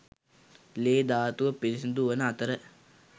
ලේ ධාතුව පිරිසුදු වන අතර